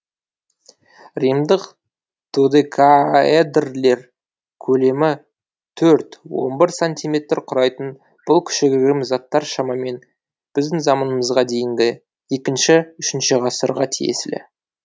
римдық додекаэдрлер көлемі төрт он бір сантиметр құрайтын бұл кішігірім заттар шамамен біздің заманымызға дейінгі екінші үшінші ғасырға тиесілі